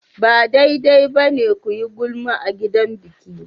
Ba daidai ba ne ku yi gulma a gidan biki.